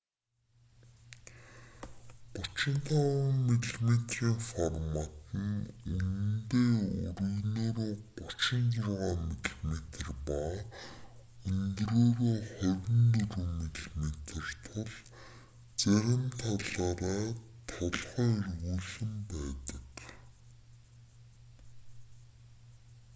35 мм-ийн формат нь үнэндээ өргөнөөрөө 36 мм ба өндрөөрөө 24 мм тул зарим талаараа толгой эргүүлэм байдаг